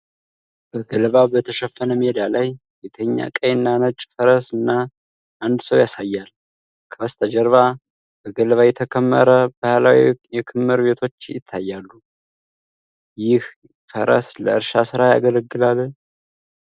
በገለባ በተሸፈነ ሜዳ ላይ የተኛ ቀይና ነጭ ፈረስ እና አንድ ሰው ያሳያል። ከበስተጀርባ በገለባ የተከመሩ ባህላዊ የክምር ቤቶች ይታያሉ። ይህ ፈረስ ለእርሻ ሥራ ያገለግላል?